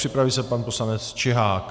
Připraví se pan poslanec Čihák.